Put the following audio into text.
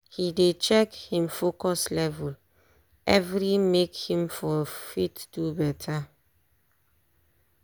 he dey check him focus level every make him for fit do better